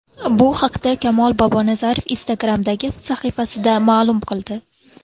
Bu haqda Kamol Bobonazarov Instagram’dagi sahifasida ma’lum qildi .